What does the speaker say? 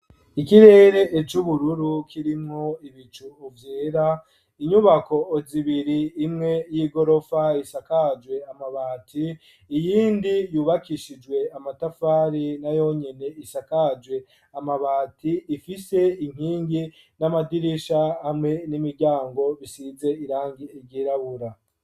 Ikirere c' ubururu kirimwo ibicu vyera inyubako zibiri imwe y'igorofa isakajwe amabati iyindi yubakishijwe amatafari nayonyene isakajwe amabati ifise inkingi n'amadirisha hamwe n'imiryango bisize irangi ry'irabura.